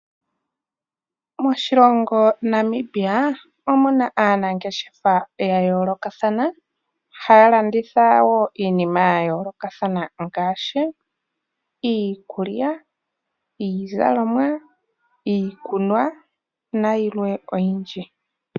Moshilongo Namibia omuna aanangeshefa ya yoolokathana, haya landitha wo iinima ya yoolokathana ngaashi iikulya, iizalomwa, iikunwa nayilwe oyindji.